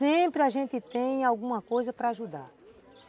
Sempre a gente tem alguma coisa para ajudar.